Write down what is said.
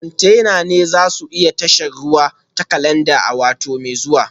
Kwantenana za su isa tashar ruwa ta Calabar a wata mai zuwa